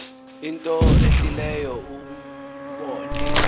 into ehlileyo ubone